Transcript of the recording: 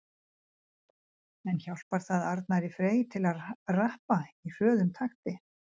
En hjálpar það Arnari Frey til að rappa í hröðum takti?